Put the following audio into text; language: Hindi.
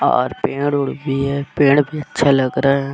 और पेड़-उड़ भी है पेड़ भी अच्छा लग रहा --